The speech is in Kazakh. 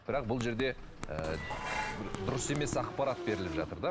бірақ бұл жерде ыыы бір дұрыс емес ақпарат беріліп жатыр да